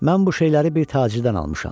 Mən bu şeyləri bir tacirdən almışam.